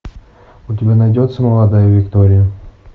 у тебя найдется молодая виктория